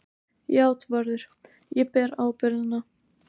JÁTVARÐUR: Ég ber ábyrgðina.